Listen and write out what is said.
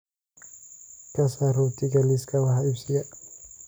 ka saar rootiga liiska wax iibsiga